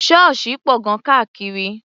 Ṣọ́ọ̀ṣì pọ̀ gan-an káàkiri.